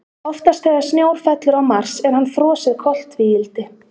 Oftast þegar snjór fellur á Mars er hann frosið koltvíildi.